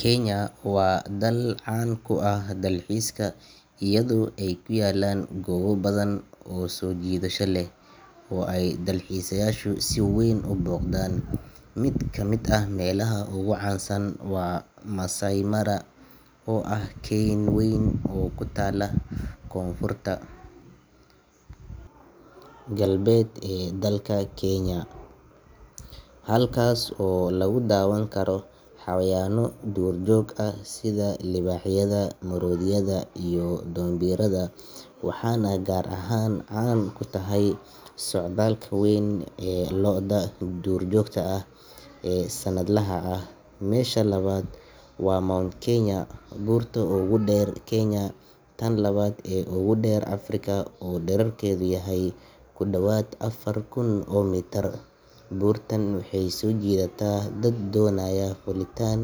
Kenya waa dal caan ku ah dalxiiska iyadoo ay ku yaallaan goobo badan oo soo jiidasho leh oo ay dalxiisayaashu si weyn u booqdaan. Mid ka mid ah meelaha ugu caansan waa Maasai Mara, oo ah keyn weyn oo ku taalla koonfurta galbeed ee dalka, halkaasoo lagu daawan karo xayawaanno duurjoog ah sida libaaxyada, maroodiyada, iyo dhoombirada, waxaana gaar ahaan caan ku tahay socdaalka weyn ee lo’da duurjoogta ah ee sannadlaha ah. Meesha labaad waa Mount Kenya, buurta ugu dheer Kenya iyo tan labaad ee ugu dheer Afrika oo dhererkeedu yahay ku dhawaad afar kun oo mitir. Buurtan waxay soo jiidataa dad doonaya fuulitaan,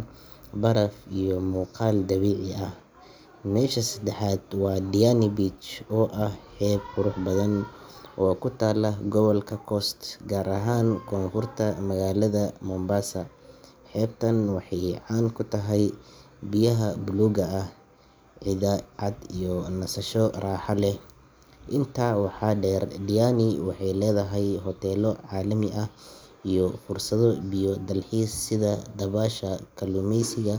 baraf iyo muuqaal dabiici ah. Meesha saddexaad waa Diani Beach, oo ah xeeb qurux badan oo ku taalla gobolka Coast, gaar ahaan Koonfurta magaalada Mombasa. Xeebtan waxay caan ku tahay biyaha buluugga ah, ciidda cad iyo nasasho raaxo leh. Intaa waxaa dheer, Diani waxay leedahay hoteello caalami ah iyo fursado biyo-dalxiis sida dabaasha, kalluumaysiga.